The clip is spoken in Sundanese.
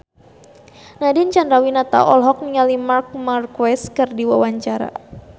Nadine Chandrawinata olohok ningali Marc Marquez keur diwawancara